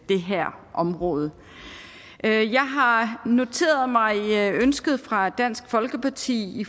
det her område jeg har noteret mig ønsket fra dansk folkeparti